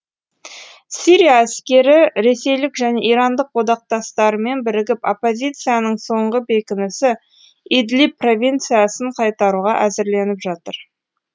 сирия әскері ресейлік және ирандық одақтастарымен бірігіп оппозицияның соңғы бекінісі идлиб провинциясын қайтаруға әзірленіп жатыр